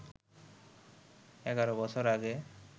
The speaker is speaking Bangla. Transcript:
এগারো বছর আগে